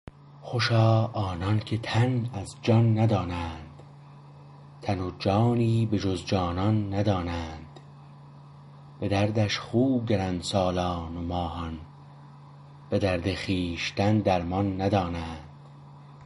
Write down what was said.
خوشا آنانکه تن از جان ندانند تن و جانی بجز جانان ندانند به دردش خو گرند سالان و ماهان به درد خویشتن درمان ندانند